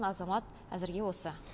азамат әзірге осы